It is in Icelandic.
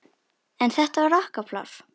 En þetta var okkar pláss.